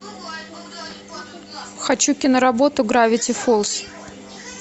хочу киноработу гравити фолз